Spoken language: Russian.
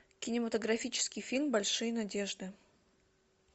кинематографический фильм большие надежды